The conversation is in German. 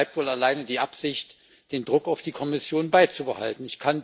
Somit bleibt wohl allein die Absicht, den Druck auf die Kommission beizubehalten.